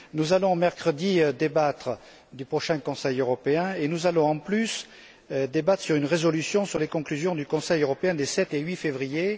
Nous allons, mercredi, débattre des prochains Conseils européens et nous allons en plus débattre d'une résolution sur les conclusions du Conseil européen des 7 et 8 février.